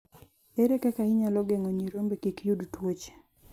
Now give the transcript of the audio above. Ere kaka inyalo geng'o nyirombe kik yud tuoche?